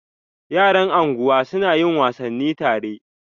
Yara anguwa suna yin wasanni tare.